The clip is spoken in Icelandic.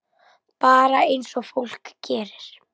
Bara eins og fólk gerir.